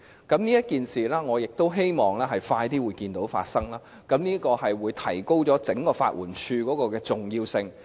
就這項安排，我希望能盡快看見政府付諸實行，因為這會提升整個法援署的重要性。